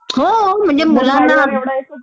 होम्हणजे मुलांना